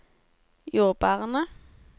jordbærene